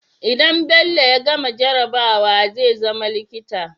idan bello ya gama jarabawa zai zama likita